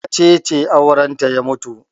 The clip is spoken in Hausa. Wace ce aurenta ya mutu?